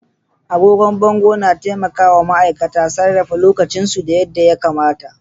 Agogon bango na taimaka wa ma'aikata sarrafa lokacinsu yadda ya kamata.